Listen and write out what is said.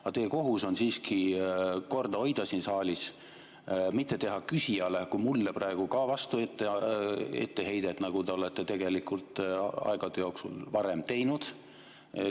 Aga teie kohus on siin saalis siiski korda hoida, mitte teha küsijale, ka mulle praegu, vastuetteheiteid, nagu te olete tegelikult aegade jooksul varemgi teinud.